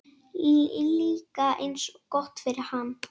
Líka eins gott fyrir hann.